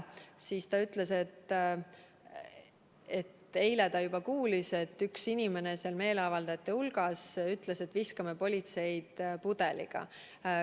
Siis ta rääkis, kuidas ta eile juba kuulis, kui üks inimene meeleavaldajate hulgas ütles, et viskame politseid pudeliga.